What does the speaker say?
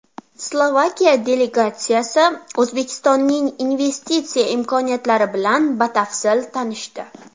Slovakiya delegatsiyasi O‘zbekistonning investitsiya imkoniyatlari bilan batafsil tanishdi.